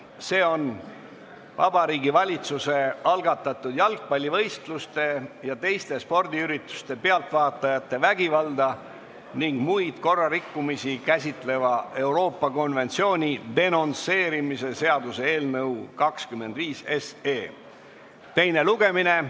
See on Vabariigi Valitsuse algatatud jalgpallivõistluste ja teiste spordiürituste pealvaatajate vägivalda ning muid korrarikkumisi käsitleva Euroopa konventsiooni denonsseerimise seaduse eelnõu 25 teine lugemine.